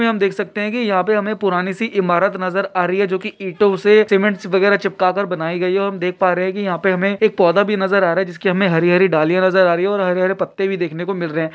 इसमें हम देख सकते हे की यहाँ पे हमें पुराणी सी ईमारत नजर आया रही है जो की ईंटो से सीमेंट से वगेरा चिपका कर बनायीं गयी है ओर हम देख पा रहे की यहाँ पे हमें एक पोधा भी नजर अ रहा है जिसकी हमें हरी-हरी डालिया नजर आ रही है ओर हरे-हरे पत्ते भी देखनो को मिल रहे हैं।